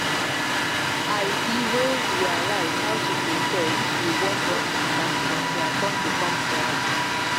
i be no realize how to prepare if you wan born matter until i come become parent.